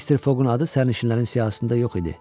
Mister Foqun adı sərnişinlərin siyahısında yox idi.